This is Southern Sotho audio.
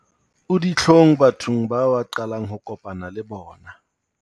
O ditlhong bathong bao a qalang ho kopana le bona